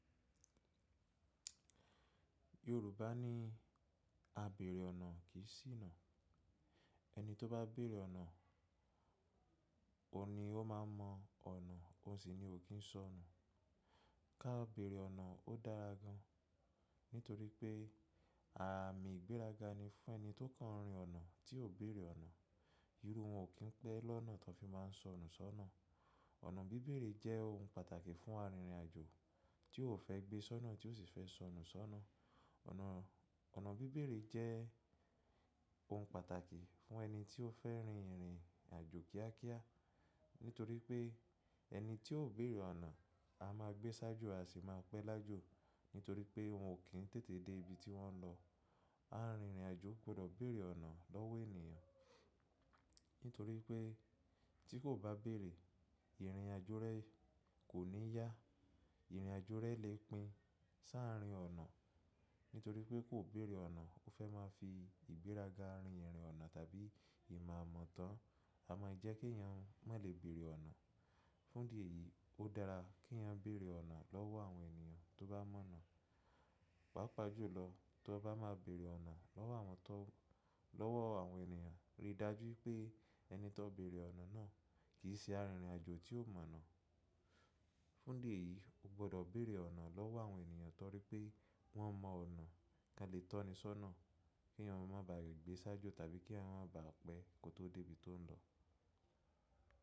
Yorùbá ní “A bèèrè ọ̀nà kì í sìnà”. Ẹni tó bá bèèrè ọ̀nà, òun ni ó máa mọ ọ̀nà ó sì ni ò kín sọ̀nà. Ka béèrè ọ̀nà ó dára gan nítorí pé ààmì ìgbéraga ni fún ẹni tó kàn rìn ọ̀nà tí ò béèrè ọ̀nà. Irú wọn ò kín pẹ́ lọ́nà tí wọ́n fi máa ń sọnù sọ́nà. Ọ̀nà bíbèrè jẹ́ ohun pàtàkì fún arìnrìn àjò tí o ò fẹ́ gbé sọ́nà tí o sì fẹ́ sọnù sọ́nà. Ọ̀nà, ọ̀nà bíbèrè jẹ́ ohun pàtàkì fún ẹni tí ó fẹ́ rin ìrìn àjò kíákíá. Nítorí pé ẹni tí ò béèrè ọ̀nà, a máa gbé ṣáájú a sì máa pẹ́ lájú. Nítorí pé wọn ò kín tètè dé ibi tí wọ́n lọ. Arìnrìn àjò gbọdọ̀ bèèrè ọ̀nà lọ́wọ́ ènìyàn. Nítorí pé tí kò bá béèrè, ìrìn àjò rẹ kò ní yá. Ìrìn àjò rẹ lè pín si àarin ọ̀nà. Nítorí pé kò béèrè ọ̀nà, o fẹ́ máa fi ìgbéraga rin ìrìn ọ̀nà tàbí ìmọ̀ àmọ̀tán, a máa yẹ kí èèyàn mọ lè bèèrè ọ̀nà. Fún ìdí èyí ó dára kí èèyàn bèèrè ọ̀nà lọ́wọ́ àwọn ènìyàn tó bá mọ̀ ọ̀nà. Pàápàá jùlọ tó bá máa bèèrè ọ̀nà lọ́wọ́ àwọn tó lọ́wọ́ àwọn ènìyàn, rí i dájú pé ẹni tó béèrè ọ̀nà náà kì í ṣe arìnrìn àjò tí o mọ̀nà. Fún ìdí èyí o gbọ́dọ̀ bèèrè ọ̀nà lọ́wọ́ àwọn ènìyàn torí pé wọ́n mọ ọ̀nà kí a lè tọ́ni sọ́nà kí èèyàn má bà à gbé ṣáájú tàbí kí èèyàn má bà à pẹ́ kó tó dé ibi tó n lọ.